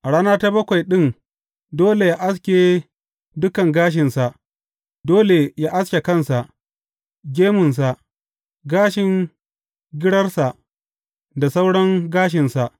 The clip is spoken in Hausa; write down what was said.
A rana ta bakwai ɗin dole yă aske dukan gashinsa; dole yă aske kansa, gemunsa, gashin girarsa da sauran gashinsa.